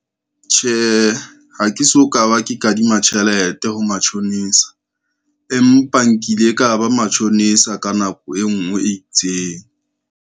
Tjhehe, ha ke so ka ba ke kadima tjhelete ho matjhonisa, empa nkile ka ba matjhonisa ka nako e ngwe e itseng.